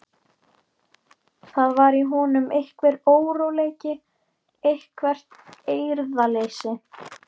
Það var í honum einhver óróleiki, eitthvert eirðarleysi.